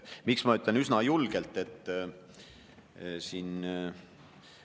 Miks ma ütlen, et üsna julgelt?